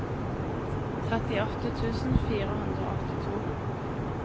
trettiåtte tusen fire hundre og åttito